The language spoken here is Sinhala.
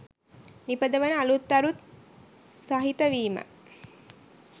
නිපදවන අලුත් අරුත් සහිත වීම.